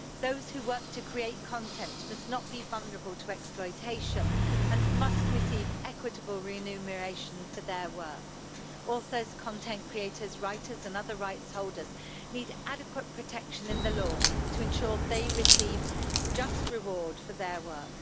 Those who work to create content must not be vulnerable to exploitation and must receive equitable remuneration for their work. Authors, content creators, writers and other rights holders need adequate protection in the law to ensure they receive just reward for their work.